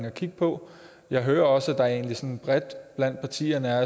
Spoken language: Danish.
og kigge på jeg hører også at der egentlig sådan bredt blandt partierne er